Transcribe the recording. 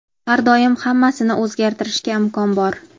har doim hammasini o‘zgartirishga imkon bor.